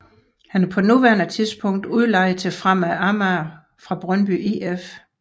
Han er på nuværende tidspunkt er udlejet til Fremad Amager fra Brøndby if